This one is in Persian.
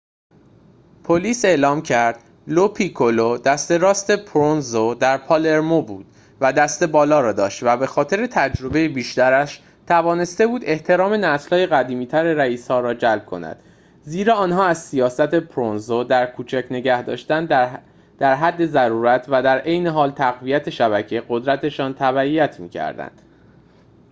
پلیس اعلام کرد لوپیکولو دست راست پروونزو در پالرمو بود و دست بالا را داشت و به خاطر تجربه بیشترش توانسته بود احترام نسل قدیمی‌تر رئیس‌ها را جلب کند زیرا آنها از سیاست پروونزو در کوچک نگه‌داشتن در حد ضرورت و در عین حال تقویت شبکه قدرت‌شان تبعیت می‌کردند